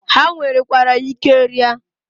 Ha nwerekwara ike ria.